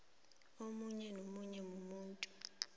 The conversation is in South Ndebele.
omunye nomunye umuntu